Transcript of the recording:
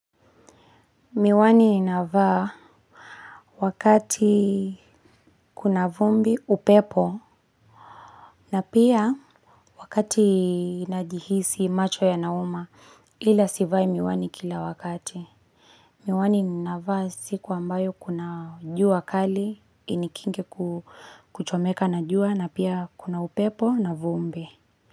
Miwani ninavaa wakati kuna vumbi upepo na pia wakati najihisi macho yanauma, ila sivai miwani kila wakati. Miwani ninavaa siku ambayo kuna jua kali, inikinge kuchomeka na jua na pia kuna upepo na vumbi.